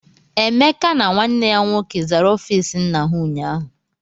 Emeka na nwanne ya nwoke zara ọfiisi nna ha ụnyaahụ.